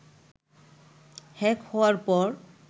hack হওয়ার পর